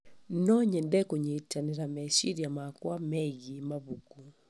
No nyende kũnyitanĩra meciria makwa megiĩ mabuku.